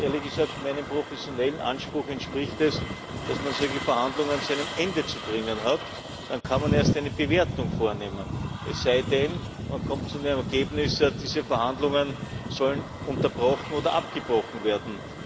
Und, ehrlich gesagt, meinem professionellen Anspruch entspricht es, dass man solche Verhandlungen zu einem Ende zu bringen hat. Dann kann man erst eine Bewertung vornehmen, es sei denn, man kommt zu dem Ergebnis, diese Verhandlungen sollen unterbrochen oder abgebrochen werden.